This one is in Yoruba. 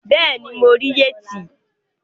Bẹẹni, mo rí yẹtí